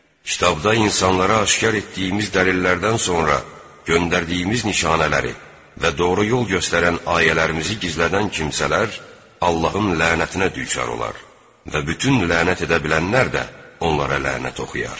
Kitabda insanlara aşkar etdiyimiz dəlillərdən sonra, göndərdiyimiz nişanələri və doğru yol göstərən ayələrimizi gizlədən kimsələr Allahın lənətinə düçar olar və bütün lənət edə bilənlər də onlara lənət oxuyar.